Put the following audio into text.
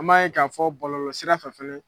An b'a ye ka fɔ bɔlɔlɔ sirafɛ fɛnɛ.